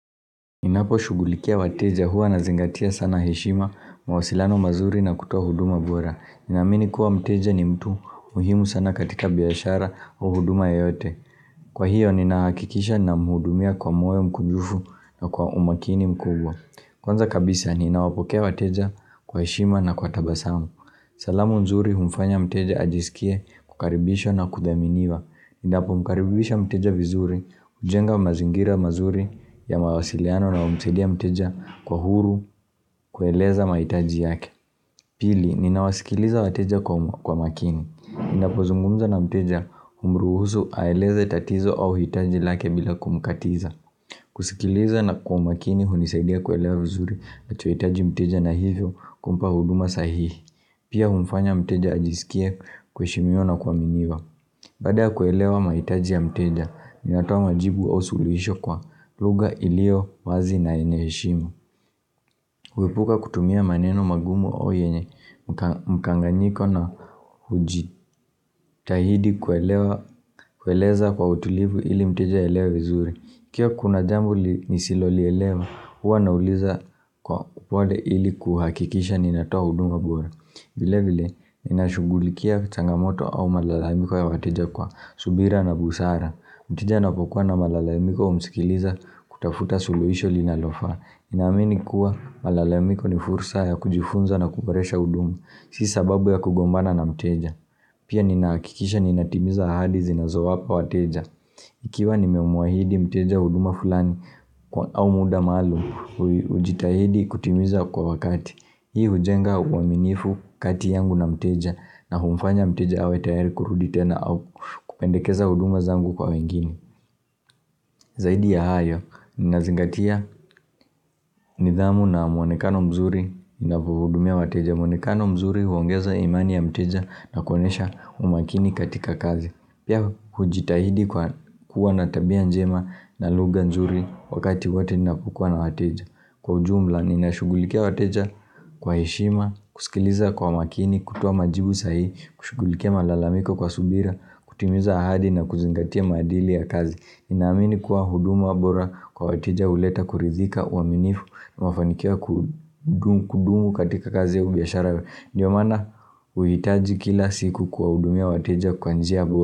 Ninaposhugulikia wateja huwa nazingatia sana heshima mawasilano mazuri na kutoa huduma bora. Ninaamini kuwa mteja ni mtu muhimu sana katika biashara au huduma yoyote. Kwa hiyo ninahakikisha ninamhudumia kwa moyo mkunjufu na kwa umakini mkubwa. Kwanza kabisa ninawapokea wateja kwa heshima na kwa tabasamu. Salamu nzuri humfanya mteja ajisikie, kukaribishwa na kudhaminiwa. Ninapomkaribisha mteja vizuri, ujenga mazingira mazuri ya mawasiliano na humsaidia mteja kuwa huru kueleza maitaji yake. Pili, ninawasikiliza wateja kwa kwa makini. Ninapozungumza na mteja humruhusu aeleze tatizo au hitaji lake bila kumkatiza. Kusikiliza na kwa makini hunisidia kuelewa vizuri anachohitaji mteja na hivyo kumpa huduma sahihi. Pia humfanya mteja ajisikie kuheshimiwa na kuaminiwa. Baada ya kuelewa mahitaji ya mteja, ninatoa majibu au suluhisho kwa lugha ilio wazi na yenye heshima. Huepuka kutumia maneno magumu au yenye mkanganyiko na hujitahidi kuelewa kueleza kwa utulivu ili mteja aelewa vizuri. Ikiwa kuna jambo nisilolielewa, huwa nauliza kwa upwade ili kuhakikisha ninatoa huduma bora. Vile vile, ninashughulikia changamoto au malalamiko ya wateja kwa subira na busara. Mteja anapokuwa na malalaimiko humsikiliza kutafuta suluisho linalofaa. Ninaamini kuwa malalamiko ni fursa ya kujifunza na kuboresha huduma. Si sababu ya kugombana na mteja. Pia ninaakikisha ninatimiza ahadi zinazowapa wateja. Ikiwa nimemuahidi mteja huduma fulani kwa au muda maalum, ujitahidi kutimiza kwa wakati. Hii hujenga uaminifu kati yangu na mteja na humfanya mteja awe tayari kurudi tena au kupendekeza huduma zangu kwa wengine. Zaidi ya hayo, ninazingatia nidhamu na mwonekano mzuri ninavyohudumia wateja. Mwonekano mzuri huongeza imani ya mteja na kuonyesha umakini katika kazi. Pia hujitahidi kwa kuwa na tabia njema na lugha nzuri wakati wote ninapokuwa na wateja. Kwa ujumla, ninashugulikia wateja kwa heshima, kusikiliza kwa makini, kutuoa majibu sahihi, kushugulikia malalamiko kwa subira, kutimiza ahadi na kuzingatia maadili ya kazi. Ninaamini kuwa huduma bora kwa wateja huleta kuridhika uaminifu, na mafanikio ya ku kudumu katika kazi au biashara. Ndiyo maana, huhitaji kila siku kuwahudumia wateja kwa njia bora.